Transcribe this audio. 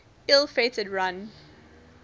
ill fated run